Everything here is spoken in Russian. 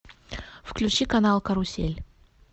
включи канал карусель